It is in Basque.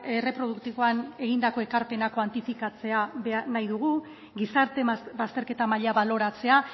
erreproduktiboan egindako ekarpenak kuantifikatzea nahi dugu gizarte bazterketa maila baloratzea